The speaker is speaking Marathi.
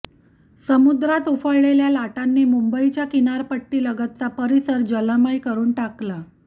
समुद्रात उफाळलेल्या लाटांनी मुंबईच्या किनारपट्टीलगतचा परिसर जलमय करून टाकला